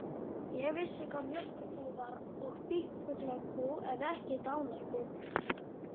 Ég vissi hvað mjólkurbú var og býflugnabú en ekki dánarbú.